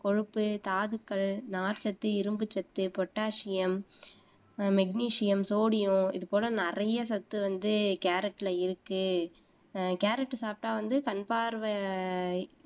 கொழுப்பு, தாதுக்கள், நார்ச்சத்து, இரும்புச்சத்து, பொட்டாசியம் ஆஹ் மெக்னீசியம், சோடியம் இதுபோல நிறைய சத்து வந்து கேரட்ல இருக்கு ஆஹ் கேரட் சாப்பிட்டா வந்து கண்பார்வை